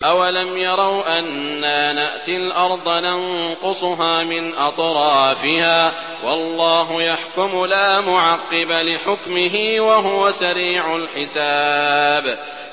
أَوَلَمْ يَرَوْا أَنَّا نَأْتِي الْأَرْضَ نَنقُصُهَا مِنْ أَطْرَافِهَا ۚ وَاللَّهُ يَحْكُمُ لَا مُعَقِّبَ لِحُكْمِهِ ۚ وَهُوَ سَرِيعُ الْحِسَابِ